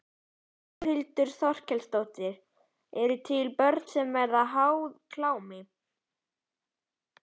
Þórhildur Þorkelsdóttir: Eru dæmi um að börn verði háð klámi?